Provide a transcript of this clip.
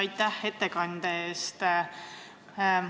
Aitäh ettekande eest!